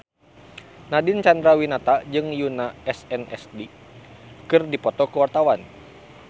Nadine Chandrawinata jeung Yoona SNSD keur dipoto ku wartawan